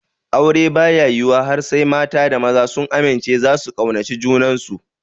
Aure baya yiwuwa har sai mata da maza sun amince zasu kaunaci junansu